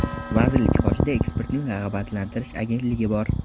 Vazirlik qoshida eksportni rag‘batlantirish agentligi bor.